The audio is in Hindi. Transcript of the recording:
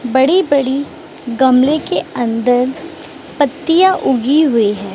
बड़ी बड़ी गमले के अंदर पत्तियां उगी हुई है।